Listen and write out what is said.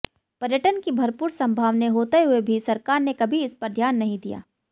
पर्यटन की भरपूर सम्भावनाएं होते हुए भी सरकार ने कभी इस पर ध्यान नहीं दिया